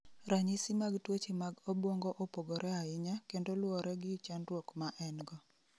Ranyisi mag tuoche mag obwongo opogore ahinya kendo luwore gi chandruok ma en-go.